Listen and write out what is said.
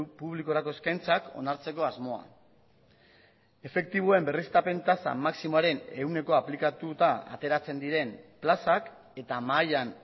publikorako eskaintzak onartzeko asmoa efektiboen berriztapen tasa maximoaren ehunekoa aplikatuta ateratzen diren plazak eta mahaian